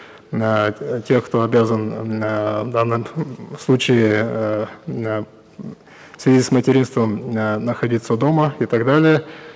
эээ тех кто обязан эээ в данном случае эээ м эээ в связи с материнством эээ находиться дома и так далее